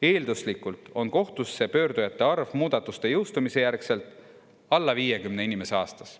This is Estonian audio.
Eelduslikult on kohtusse pöördujate arv muudatuste jõustumise järgselt alla 50 inimese aastas.